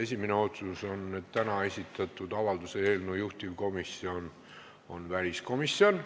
Esimene otsus on, et täna esitatud avalduse eelnõu juhtivkomisjon on väliskomisjon.